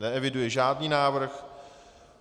Neeviduji žádný návrh.